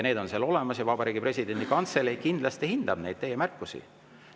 Need on seal olemas ja Vabariigi Presidendi Kantselei kindlasti hindab neid teie märkusi.